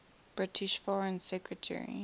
british foreign secretary